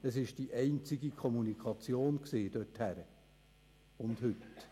Das war damals die einzige Kommunikation dorthin – und heute?